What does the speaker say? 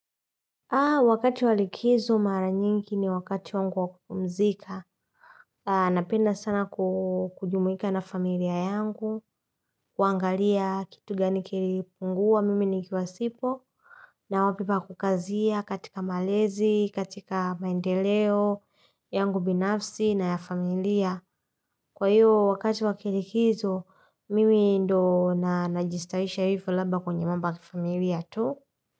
Wakati wa likizo mara nyingi ni wakati wangu wakupumzika, napenda sana kujumuika na familia yangu, kuangalia kitu gani kilipungua, mimi nikiwasipo, na wapi pa kukazia katika malezi, katika maendeleo, yangu binafsi na ya familia. Kwa hiyo, wakati wakilikizo, mimi ndo na najistawisha hivyo labda kwenye mambo ya kifamilia tu.